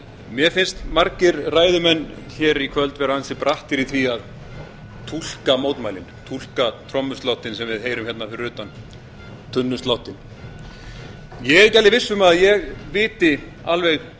mér finnst margir ræðumenn í kvöld vera ansi brattir í því að túlka mótmælin túlka trommusláttinn sem við heyrum fyrir utan tunnusláttinn ég er ekki viss um að ég viti alveg